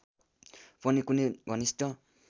पनि कुनै घनिष्ठ